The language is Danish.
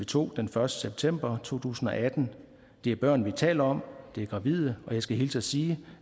to den første september 2018 det er børn vi taler om det er gravide og jeg skal hilse og sige